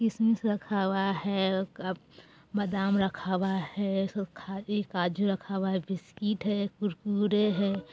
किशमिश रखा हुआ है बादाम रखा हुआ है काजू रखा हुआ है बिस्कुट है कुरकुरे है।